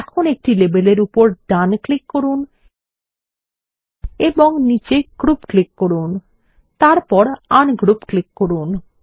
এখন একটি লেবেলের উপর ডান ক্লিক করুন এবং নীচে গ্রুপ ক্লিক করুন এবং তারপর আনগ্রুপ ক্লিক করুন